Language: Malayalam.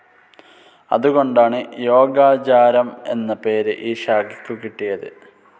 അതുകൊണ്ടാണ്, യോഗാചാരം എന്ന പേര് ഈ ശാഖയ്ക്കു കിട്ടിയത്.